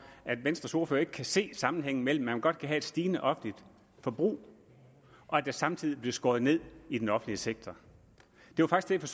at venstres ordfører ikke kan se sammenhængen mellem at man godt kan have et stigende offentligt forbrug og at der samtidig bliver skåret ned i den offentlige sektor det var faktisk